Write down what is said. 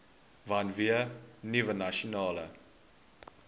vanweë nuwe nasionale